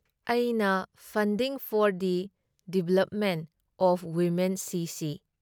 ꯑꯩꯅ "funding for the development of women ꯁꯤ ꯁꯤ ꯫